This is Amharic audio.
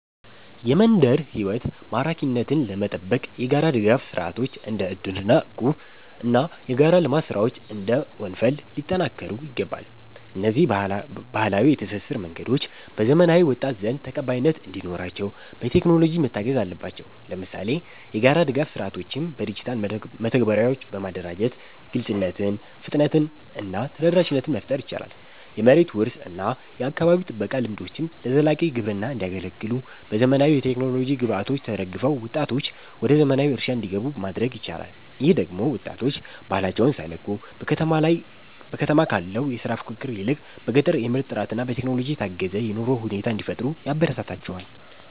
የመንደር ሕይወት ማራኪነትን ለመጠበቅ የጋራ ድጋፍ ሥርዓቶች (እንደ እድርና እቁብ) እና የጋራ የልማት ሥራዎች (እንደ ወንፈል) ሊጠናከሩ ይገባል። እነዚህ ባህላዊ የትስስር መንገዶች በዘመናዊው ወጣት ዘንድ ተቀባይነት እንዲኖራቸው፣ በቴክኖሎጂ መታገዝ አለባቸው። ለምሳሌ፣ የጋራ ድጋፍ ሥርዓቶችን በዲጂታል መተግበሪያዎች በማደራጀት ግልጽነትን፣ ፍጥነትን እና ተደራሽነትን መፍጠር ይቻላል። የመሬት ውርስ እና የአካባቢ ጥበቃ ልምዶችም ለዘላቂ ግብርና እንዲያገለግሉ፣ በዘመናዊ የቴክኖሎጂ ግብዓቶች ተደግፈው ወጣቶች ወደ ዘመናዊ እርሻ እንዲገቡ ማድረግ ይቻላል። ይህ ደግሞ ወጣቶች ባህላቸውን ሳይለቁ፣ በከተማ ካለው የሥራ ፉክክር ይልቅ በገጠር የምርት ጥራትና በቴክኖሎጂ የታገዘ የኑሮ ሁኔታ እንዲፈጥሩ ያበረታታቸዋል